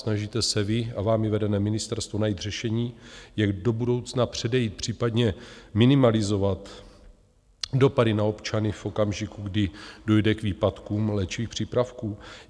Snažíte se vy a vámi vedené ministerstvo najít řešení, jak do budoucna předejít, případně minimalizovat dopady na občany v okamžiku, kdy dojde k výpadkům léčivých přípravků?